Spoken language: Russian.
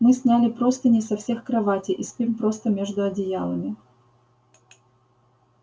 мы сняли простыни со всех кроватей и спим просто между одеялами